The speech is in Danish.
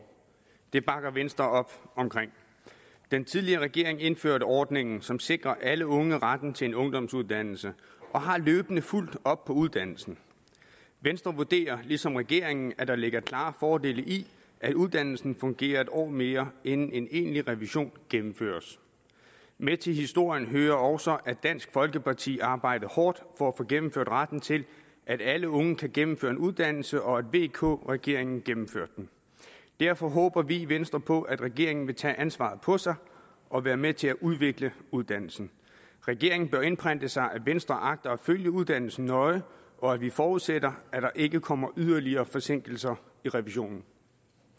det bakker venstre op om den tidligere regering indførte ordningen som sikrer alle unge retten til en ungdomsuddannelse og har løbende fulgt op på uddannelsen venstre vurderer ligesom regeringen at der ligger klare fordele i at uddannelsen fungerer en år mere inden en egentlig revision gennemføres med til historien hører også at dansk folkeparti arbejdede hårdt for at få gennemført retten til at alle unge kan gennemføre en uddannelse og at vk regeringen gennemførte det derfor håber vi i venstre på at regeringen vil tage ansvaret på sig og være med til at udvikle uddannelsen regeringen bør indprente sig at venstre agter at følge uddannelsen nøje og at vi forudsætter at der ikke kommer yderligere forsinkelser i revisionen